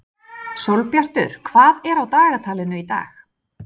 Sólbjartur, hvað er á dagatalinu í dag?